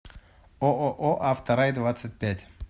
ооо авторайдвадцатьпять